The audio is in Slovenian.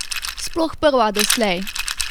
Sploh prva doslej!